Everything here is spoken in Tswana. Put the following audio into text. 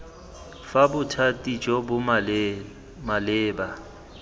fa bothati jo bo maleba